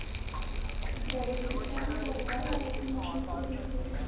द्रविड़ की शादी परिवारवालों की मर्ज़ी से हुई है